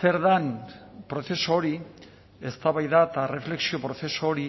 zer den prozesu hori eztabaida eta erreflexio prozesu hori